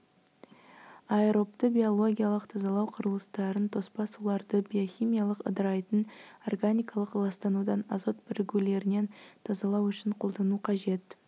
аэробты биологиялық тазалау құрылыстарын тоспа суларды биохимиялық ыдырайтын органикалық ластанудан азот бірігулерінен тазалау үшін қолдану қажет